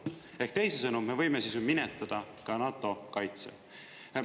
Ehk teisisõnu, me võime siis ju minetada ka NATO kaitse.